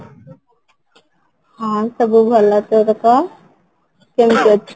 ହଁ, ସବୁ ଭଲ ତ, କେମିତି ଅଛ?